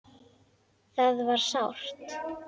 Það var sárt.